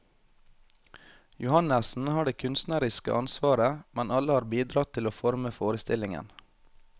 Johannessen har det kunstneriske ansvaret, men alle har bidratt til å forme forestillingen.